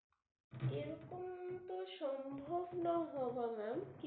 এরকম তো সম্ভব নয় হওয়া ma'am